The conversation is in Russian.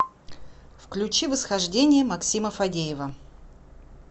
включи восхождение максима фадеева